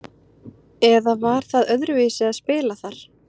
eða var það öðruvísi að spila þar?